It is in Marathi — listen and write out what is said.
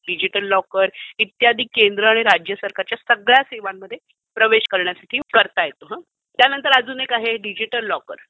डिजिटल लॉकर, इत्यादि केंद्र आणि राज्य सरकारच्या सगळ्या सेवांमध्ये प्रवेश करण्यासाठी करता येतो. त्यानंतर अजून एक आहे डिजिटल लॉकर.